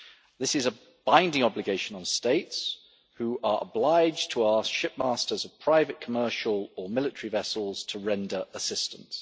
This is a binding obligation on states, who are obliged to ask ship masters of private, commercial or military vessels to render assistance.